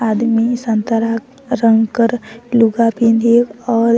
आदमी संतरा रंग कर लुगा पिँधे और --